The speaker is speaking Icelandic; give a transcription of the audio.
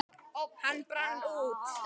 Hann brann út.